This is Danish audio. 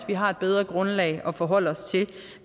vi har et bedre grundlag for at forholde os til